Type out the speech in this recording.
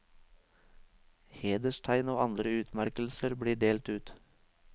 Hederstegn og andre utmerkelser blir delt ut.